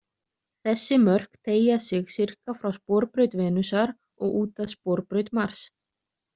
Þessi mörk teygja sig sirka frá sporbraut Venusar og út að sporbraut Mars.